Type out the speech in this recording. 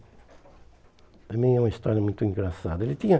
ele é uma história muito engraçada. Ele tinha